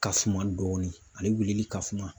Ka funma dɔɔni ale weleli ka funma.